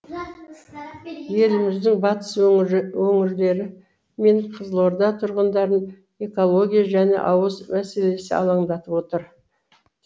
еліміздің батыс өңірлері мен қызылорда тұрғындарын экология және ауыз мәселесі алаңдатып отыр